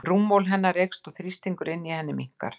Rúmmál hennar eykst og þrýstingur inni í henni minnkar.